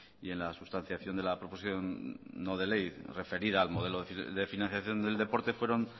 y en la sustanciación de la proposición no de ley referida al modelo de financiación del deporte fueron